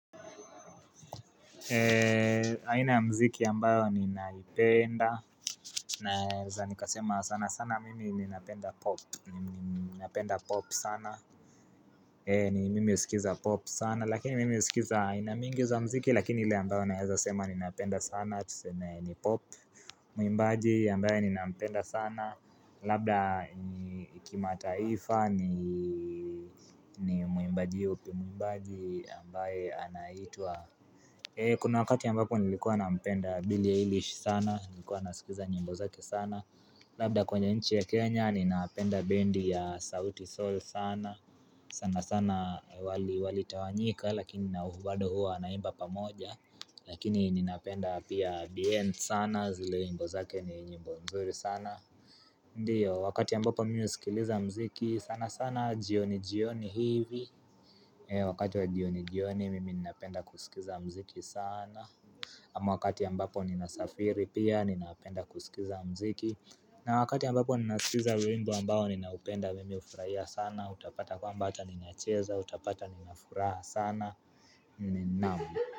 Aina ya mziki ambayo ni naipenda Naeza nikasema sana sana mimi ni napenda pop sana ni mimi husikiza pop sana lakini mimi usikiza aina mingi za mziki lakini ile ambayo naeza sema ni napenda sana tuseme ni pop Mwimbaji ambaye ni napenda sana labda ni kimataifa ni mwimbaji yupi mwimbaji ambaye anaitwa Kuna wakati ambapo nilikuwa na mpenda Billie Eilish sana, nilikuwa na sikiza nyimbo zake sana Labda kwenye nchi ya Kenya, ninapenda bendi ya sauti Soul sana sana sana wali wali tawanyika, lakini nau bado huwa wanaimba pamoja Lakini ninapenda pia Bien sana, zile nyimbo zake ni nyimbo mzuri sana Ndio, wakati ambapo mimi husikiliza mziki, sana sana jioni jioni hivi wakati wa jioni jioni mimi ninapenda kusikiza mziki sana ama wakati ambapo ninasafiri pia ninapenda kusikiza mziki na wakati ambapo ninasikiza wimbo ambao ninaupenda mimi ufurahia sana Utapata kwamba ata ninacheza utapata ninafuraha sana Naam.